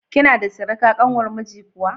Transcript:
Kina da surika ƙanwar miji kuwa?